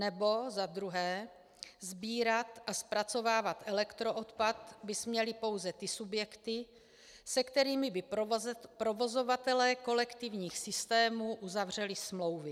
Nebo za druhé - sbírat a zpracovávat elektroodpad by směly pouze ty subjekty, se kterými by provozovatelé kolektivních systémů uzavřeli smlouvy.